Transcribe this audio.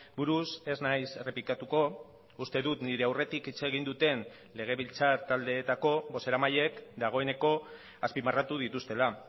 buruz ez naiz errepikatuko uste dut nire aurretik hitz egin duten legebiltzar taldeetako bozeramaileek dagoeneko azpimarratu dituztela